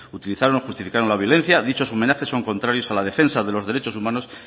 utilizaron o justificaron la violencia dichos homenajes son contrarios a la defensa de los derechos humanos